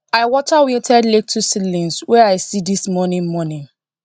i water wilted lettuce seedlings wey i see this morning morning